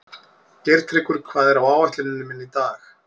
Geirtryggur, hvað er á áætluninni minni í dag?